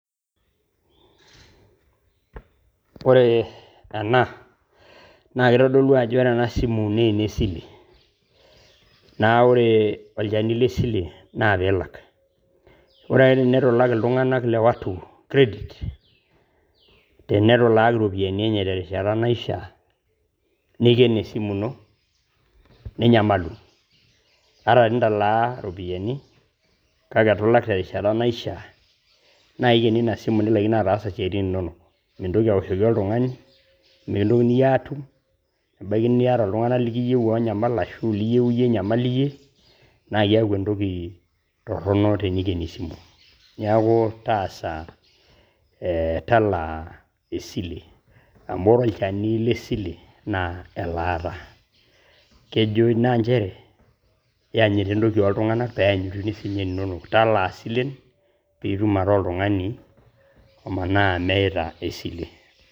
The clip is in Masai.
Oree ena naa keitodolu ajo ore ana simu ne nesile, naa ore olcheni le sile naa piilak, ore ake enetu ilaak ltunganak le watu credit tenetu ilaaki iropiyiani enye te rishata neiken esimu ino ninyamalu ,ata tenitalaa iropiyiani kake etu ilak te rishata naishaa naa eikeni ina simu nilakino ataasa siatin inono, mintoki aoshoki oltungani, mikintokini aaatum, ebaki enieta ltunganak likiyeu oonyamal ashu liyeu iye inyamal iye naa keaku entoki torono teneikeni esimu, naaku taasa talaa esile amu ore olcheni le sile naa elaata, krejo ina inchere ienyita entoki oltunganak peyanyiti si ninye ninok talaa silen piitum ataa oltungani omanaa emeeta esile